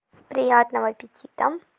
приятного аппетита